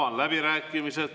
Avan läbirääkimised.